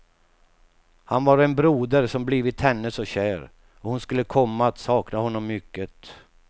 Han var en broder som blivit henne så kär, och hon skulle komma att sakna honom mycket.